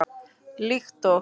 Líkt og